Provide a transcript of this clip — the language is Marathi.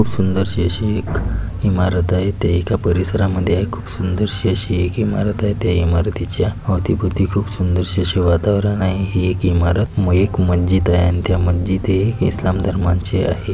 खूप सुंदरशी एक इमारत आहे ते एका परिसरामध्ये खूप सुंदरशी अशी एक इमारत आहे त्या इमारतीच्या अवतीभवती खूप सुंदरशी अशी वातावरण आहे हे एक इमारत एक मस्जिद आहे त्या मस्जिद हे एक इस्लाम धर्माचे आहे.